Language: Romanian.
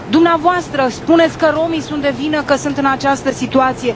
Dvs. spuneți că romii sunt de vină că sunt în această situație.